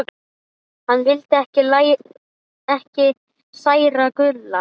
Hann vildi ekki særa Gulla.